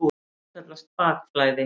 Þetta kallast bakflæði.